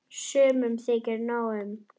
Sumum þykir nóg um.